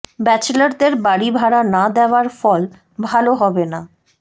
ব্যাচেলরদের বাড়ি ভাড়া না দেওয়ার ফল ভালো হবে না